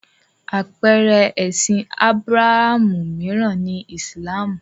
Àpeere ẹ̀sìn Ábúráhámù mìíràn ni Ìsìlámù.